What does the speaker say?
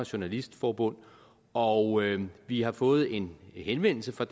journalistforbund og vi har fået en henvendelse fra